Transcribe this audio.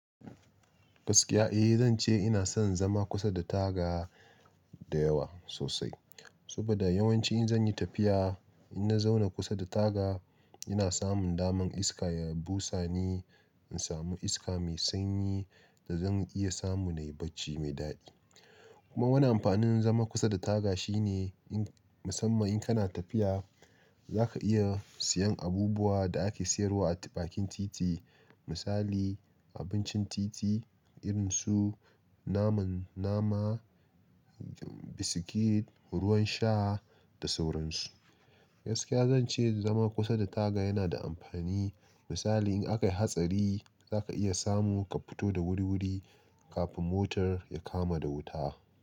Gaskiya, eh zan ce ina son zama kusa da taga dayawa sosai. Saboda yawanci in zan yi tafiya, in na zauna kusa da taga ina samun daman iska ya busa ni, in samu iska mai sanyi da zan iya samu na yi bacci mai daɗi. Kuma wani amfanin zama kusa da taga shine in musamman in kana tafiya, za ka iya siyan abubuwa da ake siyarwa a bakin titi. Misali abincin titi irinsu naman nama, biskit, ruwan sha da sauran su. Gaskiya zan ce zama kusa da taga yana da amfani. Misali in aka yi hatsari za ka iya samu ka fito da wuri-wuri kafin motar ya kama da wuta.